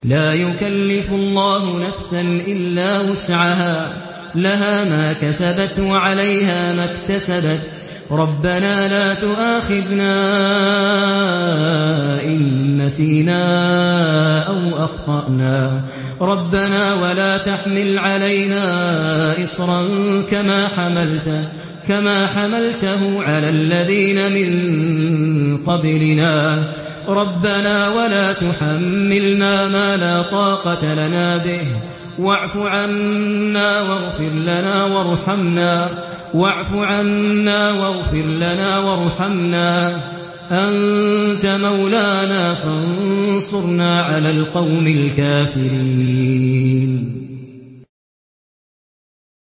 لَا يُكَلِّفُ اللَّهُ نَفْسًا إِلَّا وُسْعَهَا ۚ لَهَا مَا كَسَبَتْ وَعَلَيْهَا مَا اكْتَسَبَتْ ۗ رَبَّنَا لَا تُؤَاخِذْنَا إِن نَّسِينَا أَوْ أَخْطَأْنَا ۚ رَبَّنَا وَلَا تَحْمِلْ عَلَيْنَا إِصْرًا كَمَا حَمَلْتَهُ عَلَى الَّذِينَ مِن قَبْلِنَا ۚ رَبَّنَا وَلَا تُحَمِّلْنَا مَا لَا طَاقَةَ لَنَا بِهِ ۖ وَاعْفُ عَنَّا وَاغْفِرْ لَنَا وَارْحَمْنَا ۚ أَنتَ مَوْلَانَا فَانصُرْنَا عَلَى الْقَوْمِ الْكَافِرِينَ